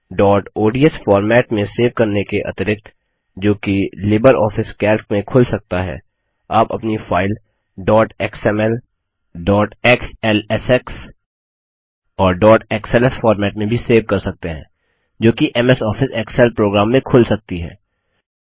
dot odsफॉर्मेट में save करने के अतिरिक्त जो कि लिबर ऑफिस कैल्क में खुल सकता है आप अपनी file dot XML dot XLSX और डॉट एक्सएलएस फॉर्मेट में भी सेव कर सकते हैं जो कि एमएस आफिस एक्सेल प्रोग्राम में खुल सकती है